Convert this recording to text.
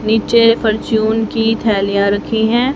नीचे फ़र्च्यून की थैलियां रखी हैं।